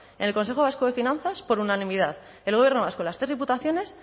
en el consejo vasco de finanzas por unanimidad el gobierno vasco las tres diputaciones